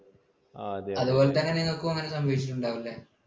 അതു പോലെ തന്നെ നിങ്ങൾക്കും അങ്ങനെ സംഭവിച്ചിട്ടുണ്ടാകും അല്ലേ?